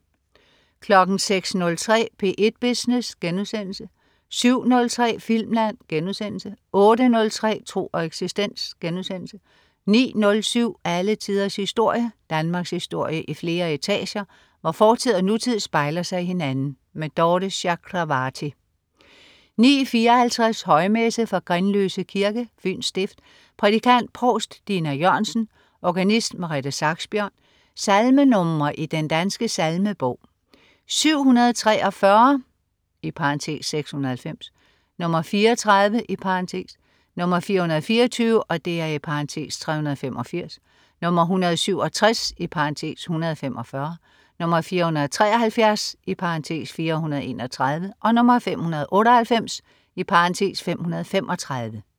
06.03 P1 Business* 07.03 Filmland* 08.03 Tro og eksistens* 09.07 Alle tiders historie. Danmarkshistorie i flere etager, hvor fortid og nutid spejler sig i hinanden. Dorthe Chakravarty 09.54 Højmesse. Fra Grindløse Kirke, Fyns stift. Prædikant: Provst Dinna Jørgensen. Organist: Merete Saxbjørn. Salmenr. i Den Danske Salmebog: 743 (690), (34), 424 (385), 167 (145), 473 (431), 598 (535)